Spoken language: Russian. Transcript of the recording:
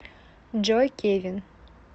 джой кевин